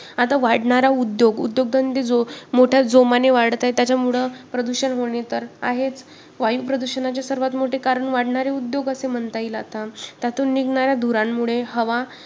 आता वाढणारा उद्योग उद्योगधंदे जो मोठ्या जोमाने वाढत आहे त्याच्यामुळं प्रदूषण होणे तर आहेच. वायुप्रदूषणाचे सर्वात मोठे कारण वाढणारे उद्योग असे म्हणता येईल आता. त्यातून निघणारा धूरांमुळे हवा